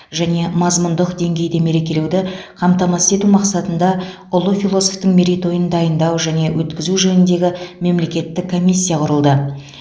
және мазмұндық деңгейде мерекелеуді қамтамасыз ету мақсатында ұлы философтың мерейтойын дайындау және өткізу жөніндегі мемлекеттік комиссия құрылды